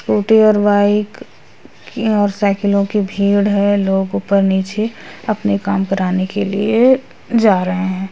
Scooty और bike की और साइकिलों की भीड़ है लोग ऊपर -नीचे अपने काम कराने के लिए जा रहे है।